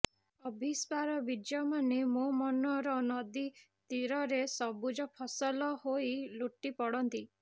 ଅଭୀପ୍ସାର ବୀଜମାନେ ମୋ ମନର ନଦୀ ତୀରରେ ସବୁଜ ଫସଲ ହୋଇ ଲୋଟି ପଡ଼ନ୍ତି